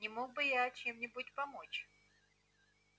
не мог бы я чем-нибудь помочь